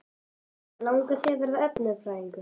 Helga: Langar þig að verða efnafræðingur?